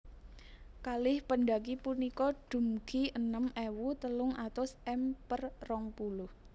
Kalih pendaki punika dumgi enem ewu telung atus m per rong puluh